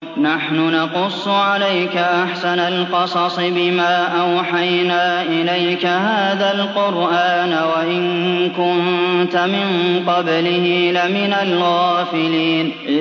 نَحْنُ نَقُصُّ عَلَيْكَ أَحْسَنَ الْقَصَصِ بِمَا أَوْحَيْنَا إِلَيْكَ هَٰذَا الْقُرْآنَ وَإِن كُنتَ مِن قَبْلِهِ لَمِنَ الْغَافِلِينَ